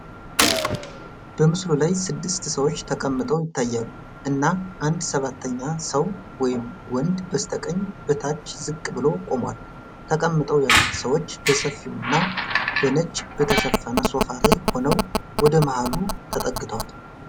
በምስሉ ላይ ስድስት ሰዎች ተቀምጠው ይታያሉ፣ እና አንድ ሰባተኛ ሰው (ወንድ) በስተቀኝ በታች ዝቅ ብሎ ቆሟል። ተቀምጠው ያሉት ሰዎች በሰፊውና በነጭ በተሸፈነ ሶፋ ላይ ሆነው ወደ መሃሉ ተጠግተዋል።